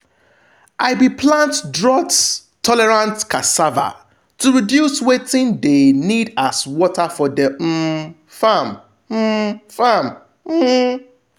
i be plant drought-tolerant cassava to reduce wetin de need as water for de um farm. um farm. um